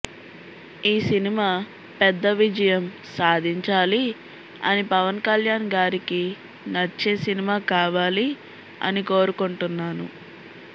ఈ సినిమా పెద్ద విజయం సాదించాలి అని పవన్ కళ్యాణ్ గారికి నచ్చే సినిమా కావాలి అని కోరుకుంటున్నాను